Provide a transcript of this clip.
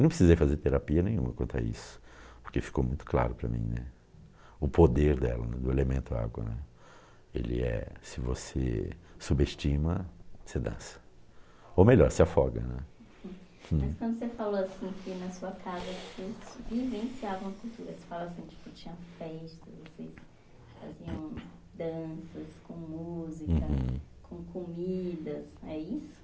não precisei fazer terapia nenhuma quanto a isso porque ficou muito claro para mim né, o poder dela, do elemento água né, ele é se você subestima você dança ou melhor, se afoga né. Mas quando você falou assim que na sua casa vocês vivenciavam a cultura você falou assim que tinha festas assim, faziam danças com música uhum com comida é isso?